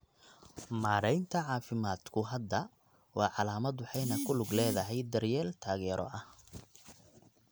Maareynta caafimaadku hadda waa calaamad waxayna ku lug leedahay daryeel taageero ah.